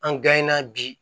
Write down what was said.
An na bi